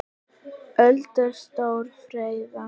Öldur stórar freyða.